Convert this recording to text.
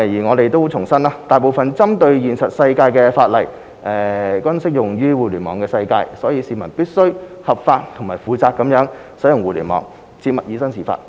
我們重申，大部分針對現實世界的法例，均適用於互聯網世界，所以市民必須合法及負責任地使用互聯網，切勿以身試法。